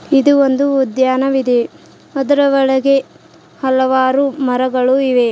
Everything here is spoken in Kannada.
ಇದು ಒಂದು ಉದ್ಯಾನವಿದೆ ಅದರ ಒಳಗೆ ಹಲವಾರು ಮರಗಳು ಇವೆ.